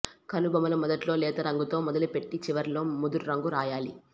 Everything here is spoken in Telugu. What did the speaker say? కనుబొమల మొదట్లో లేత రంగుతో మొదలుపెట్టి చివర్లలో ముదురు రంగు రాయాలి